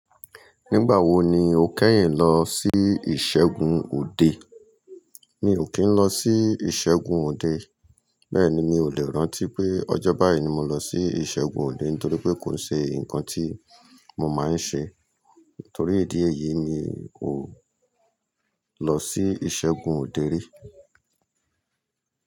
Nígbà wo ni o kẹ́yìn lọ sí ìṣẹ́gun òde? Mi ò kí ń lọ sí ìṣẹ́gun òde, bẹ́ẹ̀ ni mi ò lè rántí pé ọjọ́ báyìí ni mo lọ sí ìṣẹ́gun òde nítorí pé kò ṣe nǹkan tí mo máa ń ṣe. Nítorí ìdí èyí mi ò lọ sí ìṣẹ́gun òde rí.